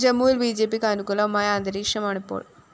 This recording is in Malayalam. ജമ്മുവില്‍ ബിജെപിക്ക് അനുകൂലമായ അന്തരീക്ഷമാണിപ്പോള്‍